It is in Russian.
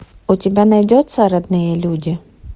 у тебя найдется родные люди